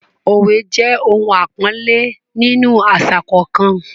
òwe jẹ ohun àpọ́nlé nínú àṣà kọ̀ọ̀kan.